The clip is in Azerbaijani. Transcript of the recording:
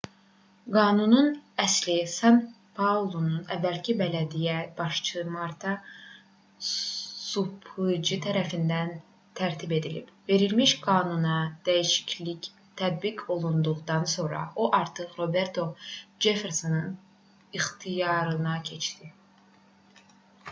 qanunun əsli san-paulonun əvvəlki bələdiyyə başçısı marta suplici tərəfindən tərtib edilib verilmiş qanuna dəyişiklik tətbiq olunduqdan sonra o artıq roberto ceffersonun ixtiyarına keçdi